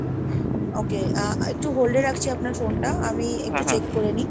okay ah একটু hold এ রাখছি আপনার phone টা আমি একটু check করে নিই।